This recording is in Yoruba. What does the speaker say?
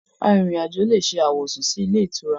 Arìnrìn àjò lè ṣe àwọ̀sùn sí ilé-ìtura.